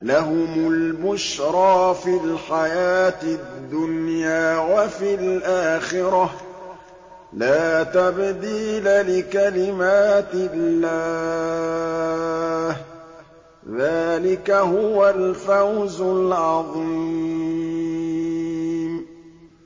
لَهُمُ الْبُشْرَىٰ فِي الْحَيَاةِ الدُّنْيَا وَفِي الْآخِرَةِ ۚ لَا تَبْدِيلَ لِكَلِمَاتِ اللَّهِ ۚ ذَٰلِكَ هُوَ الْفَوْزُ الْعَظِيمُ